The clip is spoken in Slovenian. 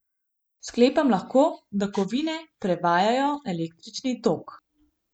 Sklepam lahko, da kovine prevajajo električni tok.